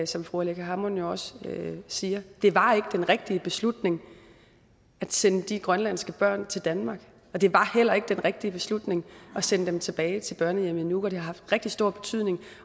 som fru aleqa hammond jo også siger det var ikke den rigtige beslutning at sende de grønlandske børn til danmark og det var heller ikke den rigtige beslutning at sende dem tilbage til børnehjemmet i nuuk det har haft rigtig stor betydning